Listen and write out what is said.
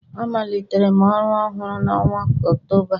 Amalitere m ọrụ ọhụrụ a n'ọnwa Ọktoba a